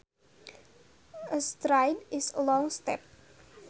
A stride is a long step